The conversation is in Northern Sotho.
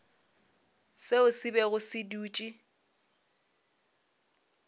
seo se bego se dutše